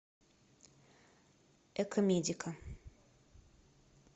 экомедика